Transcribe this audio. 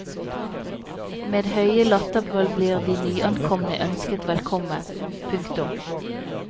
Med høye latterbrøl blir de nyankomne ønsket velkommen. punktum